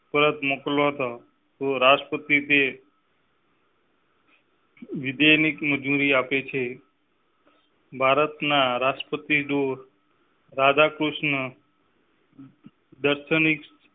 પરત મોકલતા તો રાષ્ટ્રપતિ. વિજય ની મંજૂરી આપે છે. ભારતના રાષ્ટ્રપતિ ડો. રાધાકૃષ્ણ. દર્શન